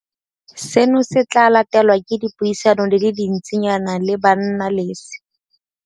Seno se tla latelwa ke dipuisano di le dintsinyana le bannalese.